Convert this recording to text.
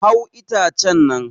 Hau itacen nan!